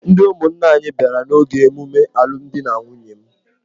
Ndị ụmụnna anyị bịara n’oge ememe alụmdi na nwunye m.